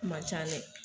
Kuma ca dɛ